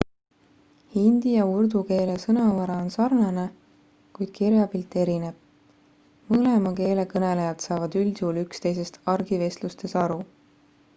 hindi ja urdu keele sõnavara on sarnane kuid kirjapilt erineb mõlema keele kõnelejad saavad üldjuhul üksteisest argivestlustes aru